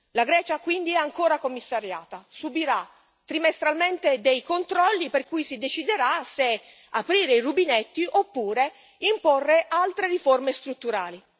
La Grecia, quindi, è ancora commissariata subirà trimestralmente dei controlli per cui si deciderà se aprire i rubinetti oppure imporre altre riforme strutturali.